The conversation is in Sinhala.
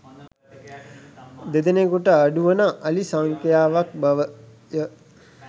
දෙනෙකුට අඩු වන අලි සංඛ්‍යාවක් බවය